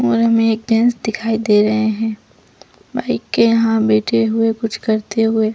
और हमें एक जेंस दिखाई दे रहै है बाइक के यहाँ बैठे हुए कुछ करते हुए --